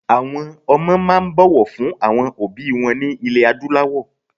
Àwọn ọmọ máa ń bọ̀wọ̀ fún àwọn òbí wọn ní ilẹ̀ Adúláwọ̀